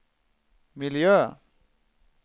miljö